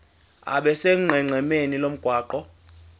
abe sonqenqemeni lomgwaqo